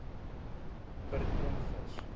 per ton vis